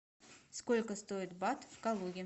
сколько стоит бат в калуге